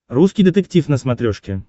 русский детектив на смотрешке